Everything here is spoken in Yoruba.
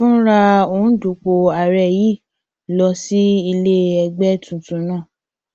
fúnra òǹdúpọ ààrẹ yìí lọ sí ilé ẹgbẹ tuntun náà